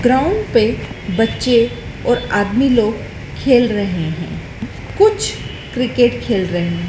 Ground पे बच्चे और आदमी लोग खेल रहे है कुछ क्रिकेट खेल रहे हैं।